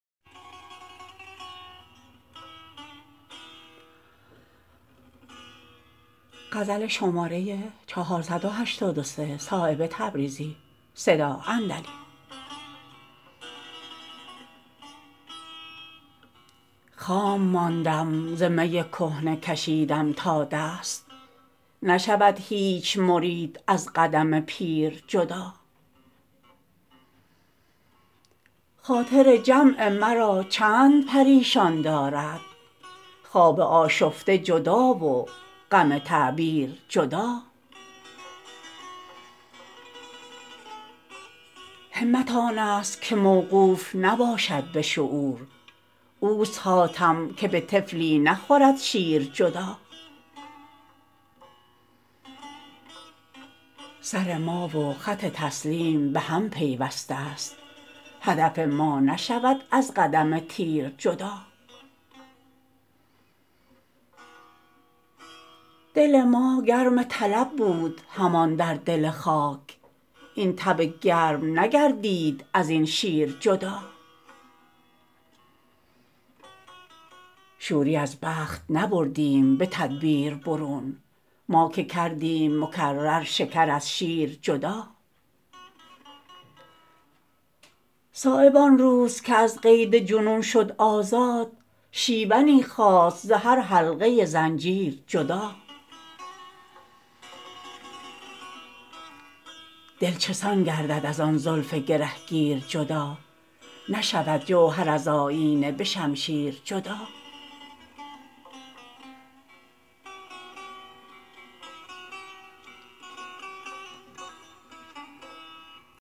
خام ماندم ز می کهنه کشیدم تا دست نشود هیچ مرید از قدم پیر جدا خاطر جمع مرا چند پریشان دارد خواب آشفته جدا و غم تعبیر جدا همت آن است که موقوف نباشد به شعور اوست حاتم که به طفلی نخورد شیر جدا سرما و خط تسلیم به هم پیوسته است هدف ما نشود از قدم تیر جدا دل ما گرم طلب بود همان در دل خاک این تب گرم نگردید ازین شیر جدا شوری از بخت نبردیم به تدبیر برون ما که کردیم مکرر شکر از شیر جدا صایب آن روز که از قید جنون شد آزاد شیونی خاست ز هر حلقه زنجیر جدا دل چسان گردد ازان زلف گرهگیر جدا نشود جوهر از آیینه به شمشیر جدا